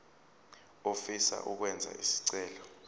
ofisa ukwenza isicelo